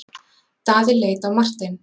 Daði leit á Martein.